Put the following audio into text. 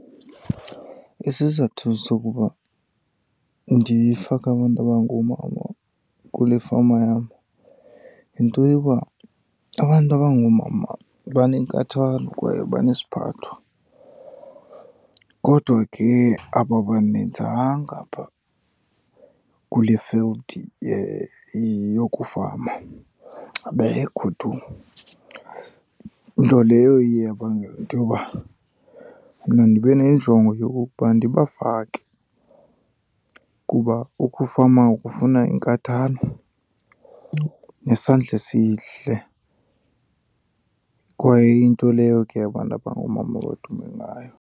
Isizathu sokuba ndifake abantu abangoomama kule fama yam yinto yoba abantu abangoomama banenkathalo kwaye banesiphatho, kodwa ke ababaninzanga apha kule field yokufama, abekho tu. Nto leyo iye yabangela into yoba mna ndibe nenjongo yokokuba ndibafake, kuba ukufama kufuna inkathalo nesandla esihle kwaye iyinto leyo ke abantu abangoomama abadume ngayo.